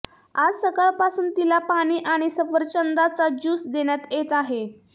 आज सकाळपासून तिला पाणी आणि सफरचंदाचा ज्यूस देण्यात येत आहे